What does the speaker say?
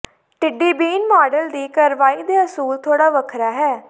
ਟਿੱਡੀ ਬੀਨ ਮਾਡਲ ਦੀ ਕਾਰਵਾਈ ਦੇ ਅਸੂਲ ਥੋੜ੍ਹਾ ਵੱਖਰਾ ਹੈ